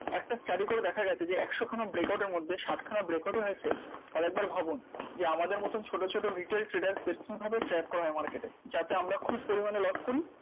একটা study করে দেখা গেছে যে একশ খানা breakout এর মধ্যে ষাঠ খানা breakout ও হয়েছে তাহলে একবার ভাবুন? যে আমাদের মতন ছোট ছোট retail traders দের কিভাবে track করা হয় market এ? যাতে আমরা খুব পরিমাণে loss করি